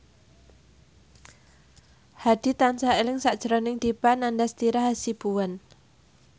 Hadi tansah eling sakjroning Dipa Nandastyra Hasibuan